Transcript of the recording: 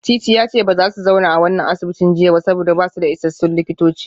Titi ya ce ba za su zauna a wannan asibitin jiya ba saboda ba su da isassun likitoci